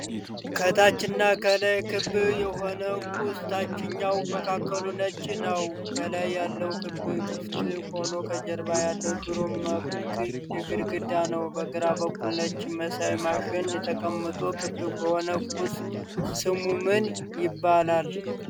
ከታች እና ከላይ ክብ የሆነ ቁስ ታችኛዉ መካከሉ ነጭ ነዉ። ከላይ ያለዉ ክብ ክፍት ሆኖ ከጀርባ ያለዉ ሽሮ መልክ ግድግዳ ነዉ። በግራ በኩል ነጭ መሳይ ማሽን ተቀምጧል። ክብ የሆነዉ ቁስ ስሙ ምን ይባላል?